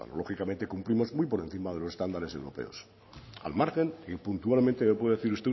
lógicamente cumplimos muy por encima de los estándares europeos al margen y puntualmente que me puede decir